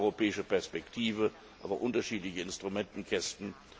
Beides betrifft die europäische Perspektive, aber unterschiedliche Instrumentenkästen.